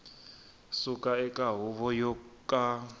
suka eka huvo yo ka